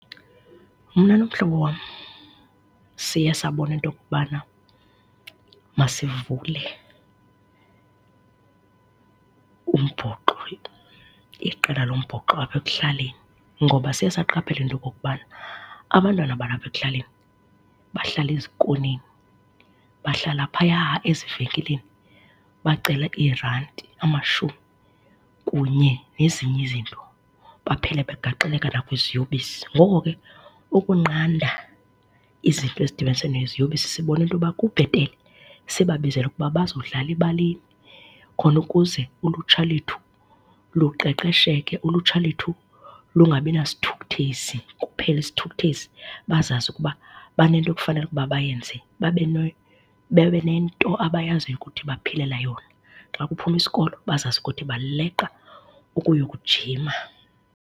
Mna nomhlobo wam siye sabona into okokubana masivule umbhoxo, iqela lombhoxo apha ekuhlaleni ngoba siye saqaphela into okokubana abantwana abalapa ekuhlaleni bahlala ezikoneni, bahlala phaya ezivenkileni bacele iirandi, amashumi kunye nezinye izinto baphele begagxeleka nakwiziyobisi. Ngoko ke ukunqanda izinto ezidibanise neziyobisi sibonile into yoba kubhetele sibabizele ukuba bazodlala ebaleni khona ukuze ulutsha lwethu luqeqesheke, ulutsha lwethu lungabi nasithukuthezi, kuphele isithukuthezi, bazazi ukuba banento ekufanele ukuba bayenze, babe babe nento abayaziyo ukuthi baphilela yona. Xa kuphuma isikolo bazazi ukuthi baleqa ukuyokujima.